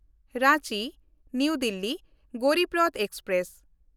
ᱨᱟᱸᱪᱤ–ᱱᱟᱣᱟ Delhi Garib Rath express